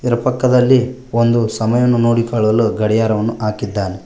ಇದರ ಪಕ್ಕದಲ್ಲಿ ಒಂದು ಸಮಯವನ್ನು ನೋಡಿಕೊಳ್ಳಲು ಗಡಿಯಾರವನ್ನು ಹಾಕಿದ್ದಾನೆ.